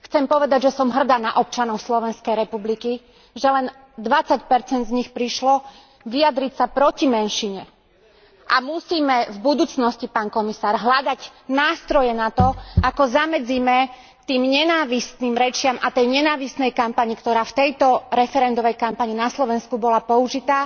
Chcem povedať, že som hrdá na občanov Slovenskej republiky, že len 20 percent z nich prišlo vyjadriť sa proti menšine a musíme v budúcnosti, pán komisár, hľadať nástroje na to, ako zamedzíme tým nenávistným rečiam a tej nenávistnej kampani, ktorá v tejto referendovej kampani na Slovensku bola použitá,